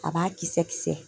A b'a kisɛ kisɛ